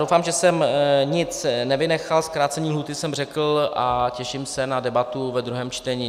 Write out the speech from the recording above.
Doufám, že jsem nic nevynechal, zkrácení lhůty jsem řekl a těším se na debatu ve druhém čtení.